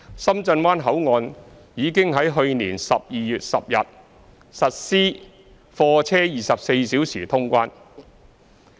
深圳灣口岸已於去年12月10日實施貨車24小時通關。